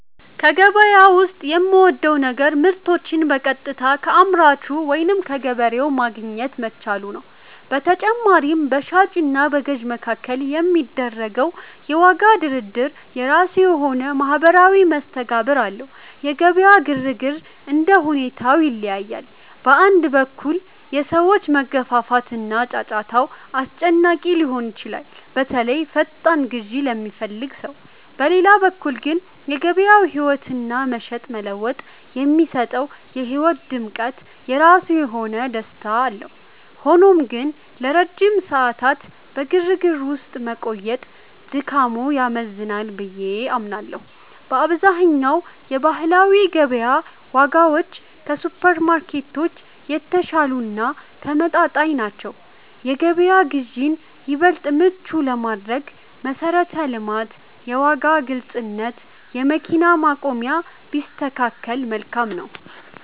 ከገበያ ዉስጥ የምወደው ነገር ምርቶችን በቀጥታ ከአምራቹ ወይም ከገበሬው ማግኘት መቻሉ ነው። በተጨማሪም፣ በሻጭ እና በገዥ መካከል የሚደረገው የዋጋ ድርድር የራሱ የሆነ ማኅበራዊ መስተጋብር አለው። የገበያ ግርግር እንደ ሁኔታው ይለያያል። በአንድ በኩል፣ የሰዎች መገፋፋት እና ጫጫታው አስጨናቂ ሊሆን ይችላል፤ በተለይ ፈጣን ግዢ ለሚፈልግ ሰው። በሌላ በኩል ግን፣ የገበያው ሕያውነትና "መሸጥ መለወጥ" የሚሰጠው የሕይወት ድምቀት የራሱ የሆነ ደስታ አለው። ሆኖም ግን፣ ለረጅም ሰዓታት በግርግር ውስጥ መቆየት ድካሙ ያመዝናል ብዬ አምናለሁ። በአብዛኛው የባህላዊ ገበያ ዋጋዎች ከሱፐርማርኬቶች የተሻሉ እና ተመጣጣኝ ናቸው። የገበያ ግዢን ይበልጥ ምቹ ለማድረግ መሠረተ ልማት፣ የዋጋ ግልጽነት፣ የመኪና ማቆሚያ ቢስተካከከል መልካም ነው።